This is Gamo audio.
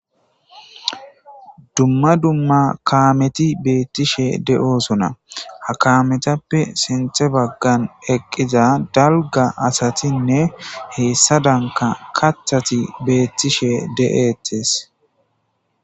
dumma dumma kaameti beettishe de'osona ha kametappe sinthe baggan eqqiza dalga asatinne heessa danka kathati beettishe de'etes